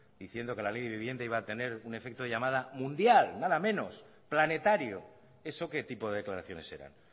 diciendo que la ley de vivienda iba a tener un efecto de llamada mundial nada menos planetario eso qué tipo de declaraciones eran